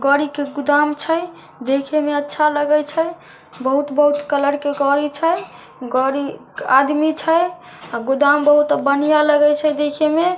गाड़ी के गोदाम छै देखे मे अच्छा लगय छै बहुत-बहुत कलर के गाड़ी छै गाड़ी आदमी छै गोदाम बहुत बढ़िया लगे छै देखे मे --